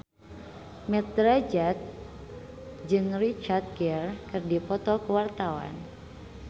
Mat Drajat jeung Richard Gere keur dipoto ku wartawan